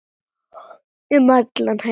Um heim allan.